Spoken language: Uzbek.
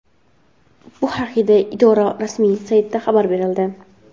Bu haqda idora rasmiy saytida xabar berildi .